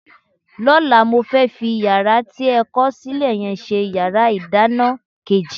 Lọ́la, mo fẹ́ fi yàrá tí a kọ̀ sílẹ̀ yẹn ṣe yàrá ìdáná kejì